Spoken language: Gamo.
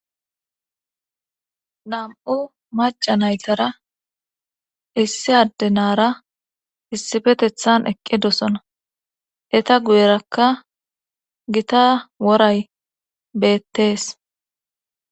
Nam'u maca naytara issi addenara issifetethan eqqe dosona eta guyerakka gita woray beettees.